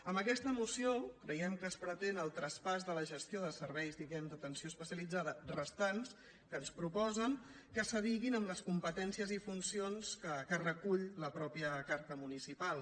amb aquesta moció creiem que es pretén el traspàs de la gestió de serveis diguem·ne d’atenció especia·litzada restants que ens proposen que s’adiguin amb les competències i funcions que recull la mateixa car·ta municipal